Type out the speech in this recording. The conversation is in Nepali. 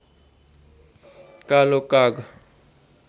कालो काग